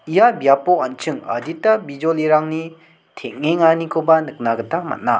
ia biapo an·ching adita bijolirangni teng·enganikoba nikna gita man·a.